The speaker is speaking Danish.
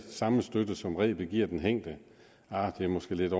samme støtte som rebet giver den hængte det er måske lidt